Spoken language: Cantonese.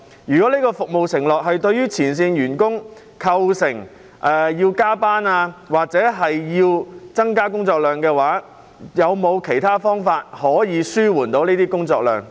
如果這項服務承諾導致前線員工需要加班或工作量大增，當局是否有方法減輕他們的工作量？